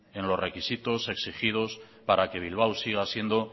en los requisitos exigidos para que bilbao siga siendo